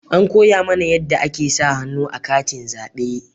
An koya mana yanda ake sa hannu a katin zabe